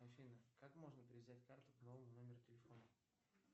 афина как можно привязать карту к новому номеру телефона